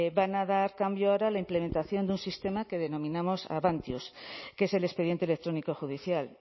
van a dar cambio ahora a la implementación de un sistema que denominamos avantius que es el expediente electrónico judicial